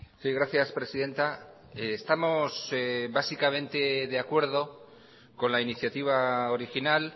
sí gracias presidenta estamos básicamente de acuerdo con la iniciativa original